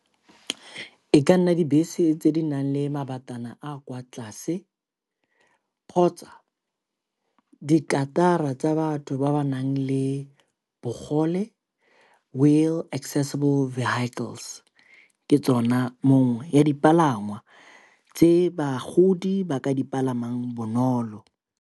E ka nna dibese tse di nang le mabatana a a kwa tlase kgotsa dikarata tsa batho ba ba nang le bogole, wheel accesible vehicles. Ke tsona mongwe ya dipalangwa tse bagodi ba ka dipalamang bonolo.